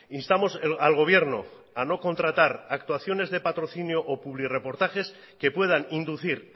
instamos al gobierno a no contratar actuaciones de patrocinio o publirreportajes que puedan inducir